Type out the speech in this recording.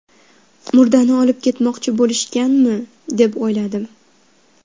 Murdani olib ketmoqchi bo‘lishganmi, deb o‘yladim.